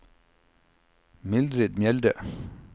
Mildrid Mjelde